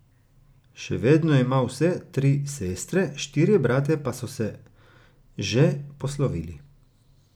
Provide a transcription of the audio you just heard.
Še vedno ima vse tri sestre, štirje bratje pa so se že poslovili.